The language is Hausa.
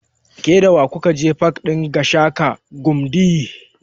Ke da wa ku ka je pak ɗin Gashaka Gumti?